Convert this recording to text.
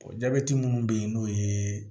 jabɛti minnu bɛ yen n'o ye